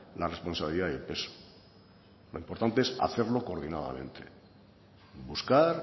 la responsabilidad y el peso lo importante es hacerlo coordinadamente buscar